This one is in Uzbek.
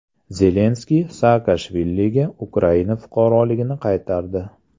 Zelenskiy Saakashviliga Ukraina fuqaroligini qaytardi.